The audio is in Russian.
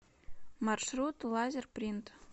маршрут лазерпринт